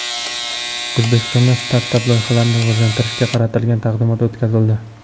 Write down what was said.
O‘zbekistonda startap-loyihalarni rivojlantirishga qaratilgan taqdimot o‘tkazildi.